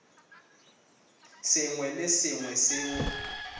sengwe le se sengwe seo